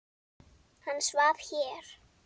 Hann svaf hér.